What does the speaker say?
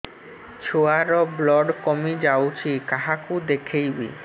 ଛୁଆ ର ବ୍ଲଡ଼ କମି ଯାଉଛି କାହାକୁ ଦେଖେଇବି